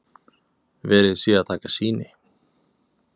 Verið sé að taka sýni